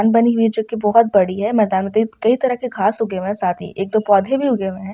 आन बनी हुई जोकि बहुत बड़ी है मैदान में कई तरह के घास उगे हुए है साथ ही एक दो पौधे भी उगे हुए है।